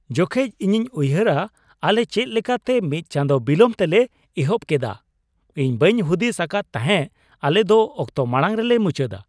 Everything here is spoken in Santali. ᱡᱚᱠᱷᱮᱱ ᱤᱧᱤᱧ ᱩᱭᱦᱟᱹᱨᱟ ᱟᱞᱮ ᱪᱮᱫ ᱞᱮᱠᱟᱛᱮ ᱢᱤᱫ ᱪᱟᱸᱫᱚ ᱵᱚᱞᱚᱢ ᱛᱮᱞᱮ ᱮᱦᱚᱵ ᱠᱮᱫᱟ, ᱤᱧ ᱵᱟᱹᱧ ᱦᱩᱫᱤᱥ ᱟᱠᱟᱫ ᱛᱟᱦᱮᱸᱜ ᱟᱞᱮ ᱫᱚ ᱚᱠᱛᱚ ᱢᱟᱲᱟᱝ ᱨᱮᱞᱮ ᱢᱩᱪᱟᱹᱫᱟ ᱾